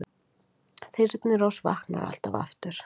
Þyrnirós vaknar alltaf aftur